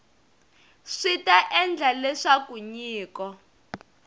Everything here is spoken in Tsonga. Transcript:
swi ta endla leswaku nyiko